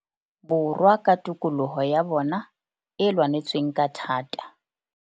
Borwa ka tokoloho ya bona e lwanetsweng ka thata.